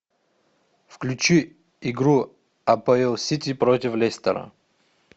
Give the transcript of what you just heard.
включи игру апл сити против лестера